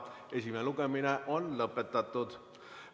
Esimene lugemine on lõpetatud.